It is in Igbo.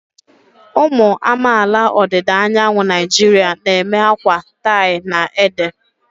Ụmụ amaala ọdịda anyanwụ Naijiria na-eme akwa tie-na-ede.